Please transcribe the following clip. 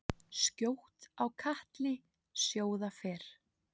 Skjótt á katli sjóða fer.